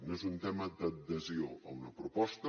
no és un tema d’adhesió a una proposta